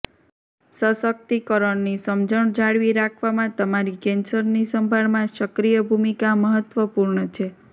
સશક્તિકરણની સમજણ જાળવી રાખવામાં તમારી કેન્સરની સંભાળમાં સક્રિય ભૂમિકા મહત્વપૂર્ણ છે